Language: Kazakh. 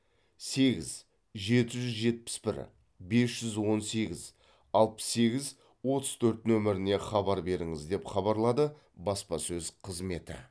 сегіз жеті жүз жетпіс бір бес жүз он сегіз алпыс сегіз отыз төрт нөміріне хабар беріңіз деп хабарлады баспасөз қызметі